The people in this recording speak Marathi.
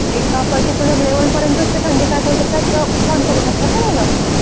एका पर्टिक्युलर लेवेल पर्यंत असते थंडी सहन करू शकतात ना मुलं?